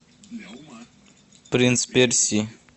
принц персии